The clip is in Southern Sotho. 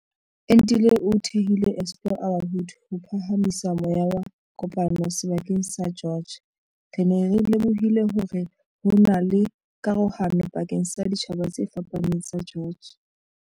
Entile o thehile Explore our Hood ho phaha misa moya wa kopano seba keng sa George. Re ne re lemohile hore hona le karohano pakeng sa ditjhaba tse fapaneng tsa George.